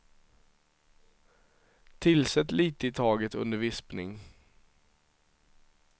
Tillsätt lite i taget under vispning.